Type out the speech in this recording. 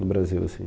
No Brasil, assim.